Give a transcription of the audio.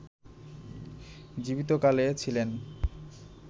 জীবিত কালে ছিলেন